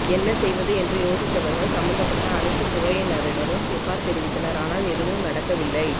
என்ன செய்வது என்று யோசித்தவர்கள் சம்பந்தப்பட்ட அனைத்து துறையினரிடமும் புகார் தெரிவித்தனர் ஆனால் எதுவும் நடக்கவில்லை